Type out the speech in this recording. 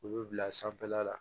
U bɛ bila sanfɛla la